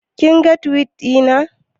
Kin ga Tiwit ɗina